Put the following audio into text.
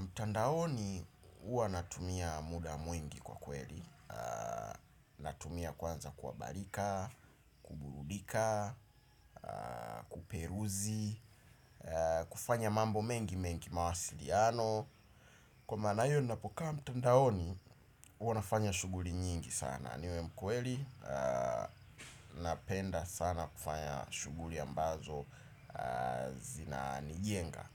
Mtandaoni ua natumia muda mwingi kwa kweli. Natumia kwanza kwa barika, kuburudika, kuperuzi, kufanya mambo mengi mengi mawasiliano. Kwamanayo ninapokaa mtandaoni, ua nafanya shughuri nyingi sana. Niwe mkweli, napenda sana kufanya shughuri ambazo zinanijenga.